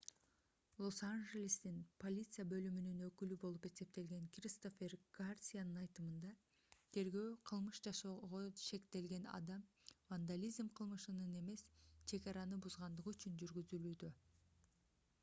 лос-анжелестин полиция бөлүмүнүн өкүлү болуп эсептелген кристофер гарсиянын айтымында тергөө кылмыш жасоого шектелген адам вандализм кылмышынан эмес чек араны бузгандыгы үчүн жүргүзүлүүдө